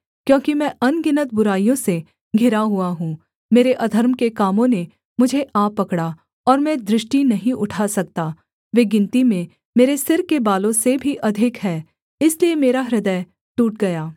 क्योंकि मैं अनगिनत बुराइयों से घिरा हुआ हूँ मेरे अधर्म के कामों ने मुझे आ पकड़ा और मैं दृष्टि नहीं उठा सकता वे गिनती में मेरे सिर के बालों से भी अधिक हैं इसलिए मेरा हृदय टूट गया